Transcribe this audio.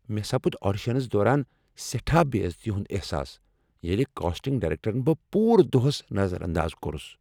مےٚ سپُد آڈیشنس دوران سیٹھاہ بے عزتی ہُند احساس ییٚلہ کاسٹنگ ڈایریکٹرن بہ پورٕ دوہس نظر انداز کوٚرس۔